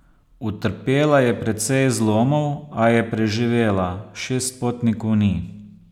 Utrpela je precej zlomov, a je preživela, šest potnikov ni.